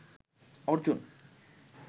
Arjun